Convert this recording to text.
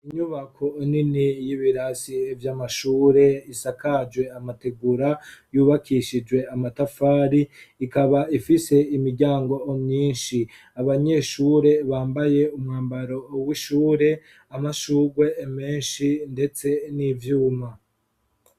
Inyubako nini y'ibirasi vy'amashure, isakajwe amategura, yubakishijwe amatafari ikaba ifise imiryango myinshi, abanyeshure bambaye umwambaro w'ishure amashugwe menshi ndetse n'ivyuma